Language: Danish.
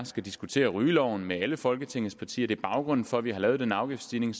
skal diskutere rygeloven med alle folketingets partier det er baggrunden for at vi har lavet den afgiftsstigning